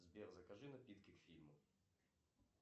сбер закажи напитки к фильму